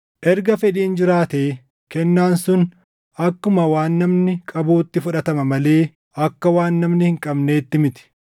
Erga fedhiin jiraate kennaan sun akkuma waan namni qabuutti fudhatama malee akka waan namni hin qabneetti miti.